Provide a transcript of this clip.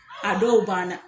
A dɔw ban na.